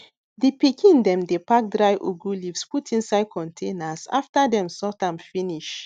di pikin dem dey pack dry ugwu leaves put inside containers after dem sort am finish